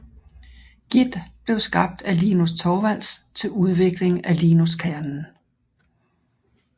Git blev skabt af Linus Torvalds til udvikling af Linuxkernen